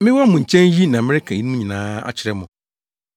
“Mewɔ mo nkyɛn yi na mereka eyinom nyinaa akyerɛ mo.